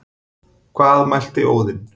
Hvað mælti Óðinn,